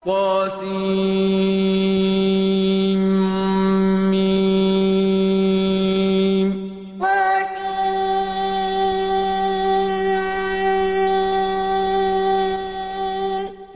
طسم طسم